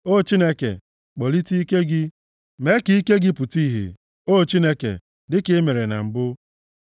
O Chineke, kpọlite ike gị; mee ka ike gị pụta ìhè, O Chineke, dịka i mere na mbụ.